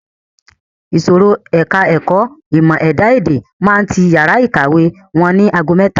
Ìsòrí ẹka ẹ̀kọ́ ìmọ̀ ẹ̀dá-èdè máa ti yàrá ìkàwé wọn ni ago mẹ́ta.